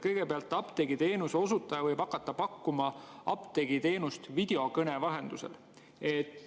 Kõigepealt, apteegiteenuse osutaja võib hakata pakkuma apteegiteenust videokõne vahendusel.